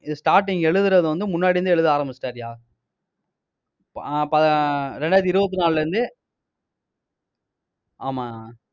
இது starting எழுதுறது வந்து, முன்னாடி இருந்து, எழுத ஆரம்பிச்சிட்டாருயா ரெண்டாயிரத்து இருபத்தி நாளுல இருந்து ஆமா